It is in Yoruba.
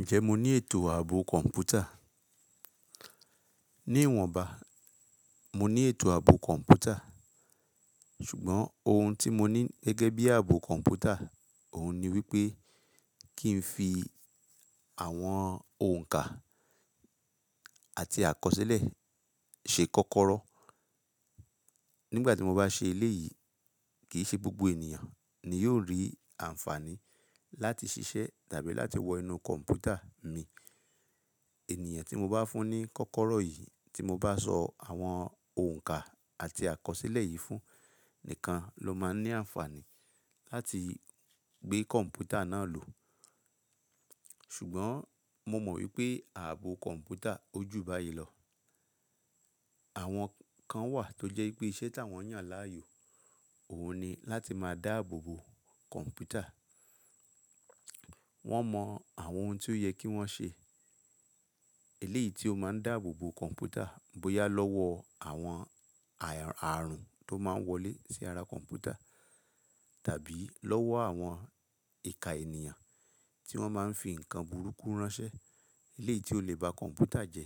Ǹjẹ́ mo ní ètò ààbò kọ̀ǹpútà? Ní ìwọ̀nba, mo ní ètò ààbò kọ̀ǹpútà, ṣùgbọ́n ohun tí mo ní gẹ́gẹ́ bí ààbò kọ̀ǹpútà, òhun ni wípé kí n fi àwọn òǹkà àti àkọsílẹ̀ ṣe kọ́kọ́rọ́. Nígbà tí mo bá ṣe eléyìí, kì í ṣe gbogbo ènìyàn ni yóò rí àǹfàní láti ṣiṣẹ́ tàbí láti wọ inú kọ̀ǹpútà mi. Ènìyàn tí mo bá fún ní kọ́kọ́rọ́ yìí tí mo bá sọ àwọn òǹkà àti àkọsílẹ̀ yìí fún nìkan ló máa ní àǹfàní láti gbé kọ̀ǹpútà náà lò. Ṣùgbọ́n mo mọ̀ wípé ààbò kọ̀ǹpútà o jù báyíì lọ. Àwọn kan wà tó jẹ́ í pé iṣẹ́ tí àwọn yàn láàyò, òhun ni láti máa dáàbò bo kọ̀ǹpútà. Wọ́n mọ àwọn ohun tí ó yẹ kí wọ́n ṣe. Eléyìí tí ó máa ń dáàbò bo kọ̀ǹpútà bóyá lọ́wọ́ọ àwọn ààrùn tó máa ń wọlé sí ara kọ̀ǹpútà tàbí lọ́wọ́ àwọn ìkà ènìyàn tí wọ́n máa ń fi nǹkan burúkú ránṣẹ́. Eléyìí tí ó lè ba kọ̀ǹpútà jẹ